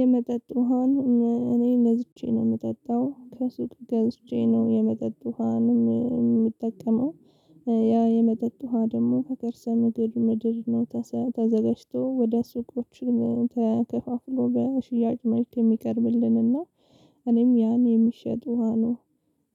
የመጠጥ ውሃን እኔ ገዝቼ ነው ምጠጣው ከሱቅ ገዝቼ ነው የመጠጥ ውሃን ምጠቀመው። ያ የመጠጥ ውሃ ደግሞ ከከርሰ ምድር ምድር ነው ተዘጋጅቶ ወደ ሱቆችን ተከፋፍሎ በሽያጭ መልክ የሚቀርብልንና እኔም ያኔ የሚሸጥ ውሃ ነው